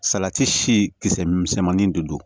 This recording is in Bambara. Salati si kisɛ misɛnmanin de don